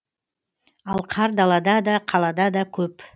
ал қар далада да қалада да көп